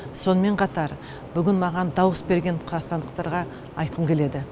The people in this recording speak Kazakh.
сонымен қатар бүгін маған дауыс берген қазақстандықтарға айтқым келеді